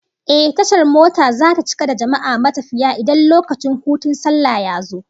Ehh, tashar mota zata cika da jama'a matafiya idan lokacin hutun sallah yazo